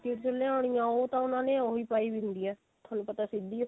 ਚੋਂ ਲਿਆਉਣੀ ਉਹ ਤਾਂ ਉਹਨਾਂ ਨੇ ਉਹੀ ਪਾਈ ਵੀ ਹੁੰਦੀ ਆ ਥੋਨੂੰ ਪਤਾ ਸਿੱਧੀ ਹੀ